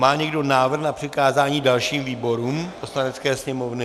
Má někdo návrh na přikázání dalším výborům Poslanecké sněmovny?